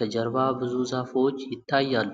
ከጀርባ ብዙ ዛፎች ይታያሉ።